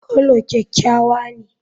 Coulor kyakkyawa ne.